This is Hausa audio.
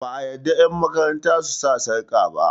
ba a yarda yanmakaranta su sa sarƙa ba